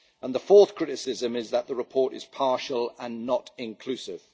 The fourth criticism is that the report is partial and not inclusive.